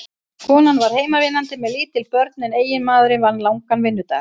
Konan var heimavinnandi með lítil börn en eiginmaðurinn vann langan vinnudag.